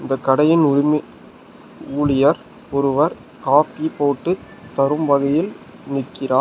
இந்த கடையின் உரிமை ஊழியர் ஒருவர் காஃபி போட்டு தரும் வகையில் நிக்கிறார்.